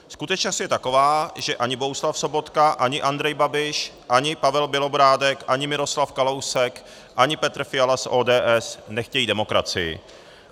Skutečnost je taková, že ani Bohuslav Sobotka, ani Andrej Babiš, ani Pavel Bělobrádek, ani Miroslav Kalousek, ani Petr Fiala z ODS nechtějí demokracii.